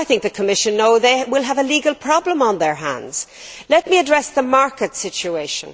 I think the Commission knows it will have a legal problem on its hands. Let me address the market situation.